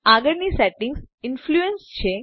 આગળની setting influence છે